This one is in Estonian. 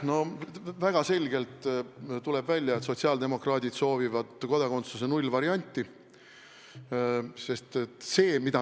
No väga selgelt tuleb välja, et sotsiaaldemokraadid soovivad kodakondsuse nullvarianti.